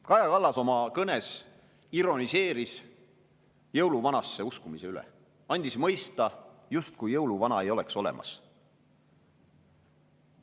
Kaja Kallas oma kõnes ironiseeris jõuluvanasse uskumise üle, andis mõista, justkui jõuluvana ei oleks olemas.